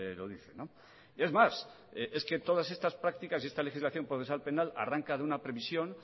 lo dice es más es que todas estas prácticas y esta legislación procesal penal arranca de una previsión